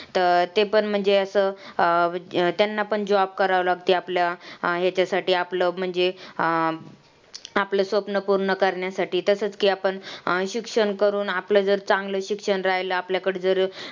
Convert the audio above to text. तर ते पण म्हणजे असं अं त्यांना पण job करावा लागतो ते आपलं हेच्यासाठी आपलं म्हणजे अं आपलं स्वप्न पूर्ण करण्यासाठी तसंच की आपण अं शिक्षण करून आपलं जर चांगलं शिक्षण राहिला आपल्याकडं तर